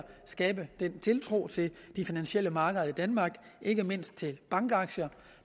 skabe den tiltro til de finansielle markeder i danmark ikke mindst til bankaktier